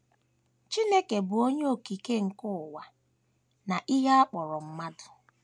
Chineke bụ́ Onye Okike nke ụwa na ihe a kpọrọ mmadụ.